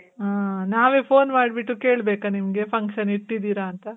ಹಾ , ನಾವೇ phone ಮಾಡ್ಬಿಟ್ಟು ಕೇಳ್ಬೇಕ ನಿಮ್ಗೆ, function ಇಟ್ಟಿದೀರ ಅಂತ?